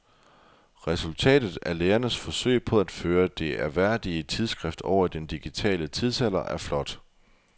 Resultatet af lægernes forsøg på at føre det ærværdige tidsskrift over i den digitale tidsalder er flot.